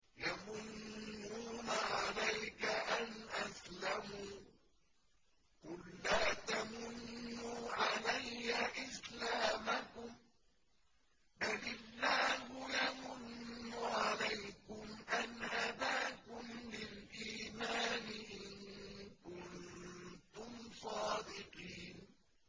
يَمُنُّونَ عَلَيْكَ أَنْ أَسْلَمُوا ۖ قُل لَّا تَمُنُّوا عَلَيَّ إِسْلَامَكُم ۖ بَلِ اللَّهُ يَمُنُّ عَلَيْكُمْ أَنْ هَدَاكُمْ لِلْإِيمَانِ إِن كُنتُمْ صَادِقِينَ